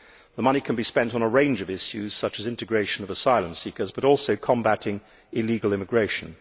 The money can be spent on a range of issues, such as the integration of asylum seekers, but also on combating illegal immigration.